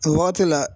O wagati la